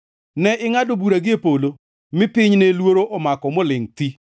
Ne ingʼado bura gie polo, mi piny ne luoro omako molingʼ thi.